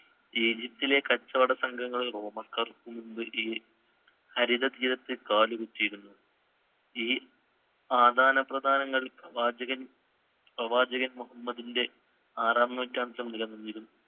ഈജിപ്തിലെ കച്ചവടസംഘങ്ങൾ റോമാക്കാര്‍ക്ക് മുന്‍പേ ഈ ഹരിതതീരത്ത് കാലുകുത്തിയിരുന്നു. ഈ പ്രവാചകന്‍~ പ്രവാചകൻ മുഹമ്മദിന്‍റെ ആറാം നൂറ്റാണ്ടിലും ഉയർന്നിരുന്നു.